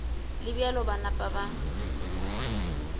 le bjalo ba napa ba